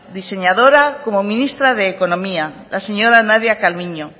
diseñadora como ministra de economía la señora nadia calviño